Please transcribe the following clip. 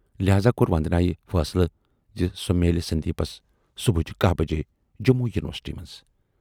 لہذا کور وندنایہِ فٲصلہٕ زِ سۅ میلہِ سندیپس صُبچہِ کاہ بجے جموں یونیورسٹی منز۔